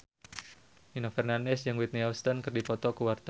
Nino Fernandez jeung Whitney Houston keur dipoto ku wartawan